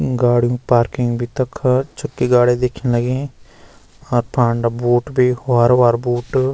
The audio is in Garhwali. गाडियुं पार्किंग भी तख छके गाड़ी दिखण लगीं और फांडा बूट भी हरु-भोरु बूट।